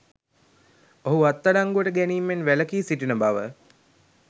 ඔහු අත්අඩංගුවට ගැනීමෙන් වැළකී සිටින බව